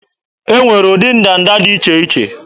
E nwere ụdị ndanda dị iche iche